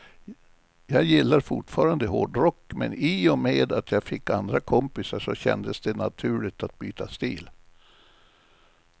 Jag gillar fortfarande hårdrock, men i och med att jag fick andra kompisar så kändes det naturligt att byta stil.